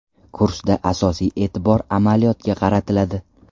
Kursda asosiy e’tibor amaliyotga qaratiladi.